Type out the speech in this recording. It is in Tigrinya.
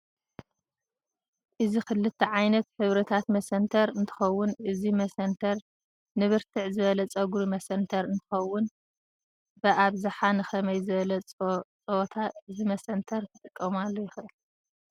እዚ ክልተ ዓይነት ሕብርታት መሰንተር እንትከውን እዚ መሰንተር ንብርትዕ ዝበለ ፅግሪ መሰንተር እንትከውን ብኣብዛሓ ንከመይ ዝበለ ፀዎታ እዚ መሰንተር ክጥቃመሉ ይክእል?